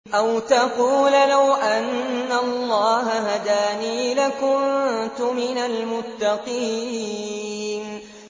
أَوْ تَقُولَ لَوْ أَنَّ اللَّهَ هَدَانِي لَكُنتُ مِنَ الْمُتَّقِينَ